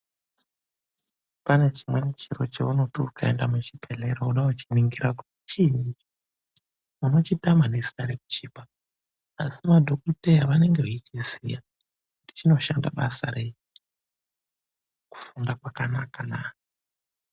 Pane chimweni chiro cheunoti ukaenda muchibhedhlera woda kuchiningira kuti chiinyi unochitama nezita rekuchipa asi madhogodheya vanenge veichiziya kuti chinoshanda basa rei, kufunda kwakanakana.